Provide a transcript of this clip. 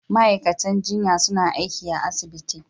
Ma'aikatan jinya suna aiki a asibiti.